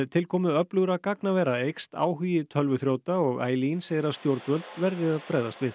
tilkomu öflugra gagnavera eykst áhugi tölvuþrjóta og segir að stjórnvöld verði að bregðast við